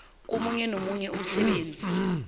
komunye nomunye umsebenzi